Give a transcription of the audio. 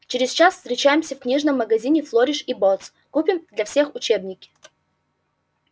через час встречаемся в книжном магазине флориш и боттс купим для всех учебники